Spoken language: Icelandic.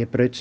ég braut